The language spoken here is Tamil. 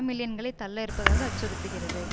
மில்லியன்களை தள்ள இருப்பதாக அச்சுறுத்துகிறது